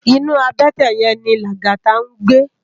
Inú àbètè yèn ni Lagata ngbé